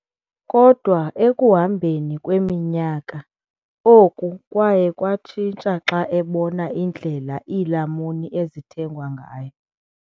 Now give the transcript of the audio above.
Kodwa ekuhambeni kweminyaka, oku kwaye kwatshintsha xa ebona indlela iilamuni ezithengwa ngayo.